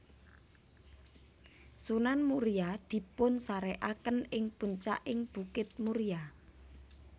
Sunan Muria dipunsarékaken ing puncaking bukit Muria